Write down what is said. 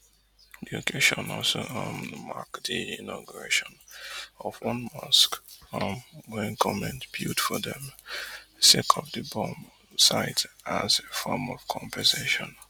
di occasion also um mark di inauguration of one mosque um wey goment build for dem sake of di bomb site as a form of compensation